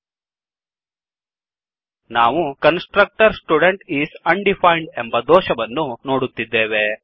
ನಾವು constructor student is undefined constructor student undefined ಎಂಬ ದೋಷವನ್ನು ನೋಡುತ್ತೇವೆ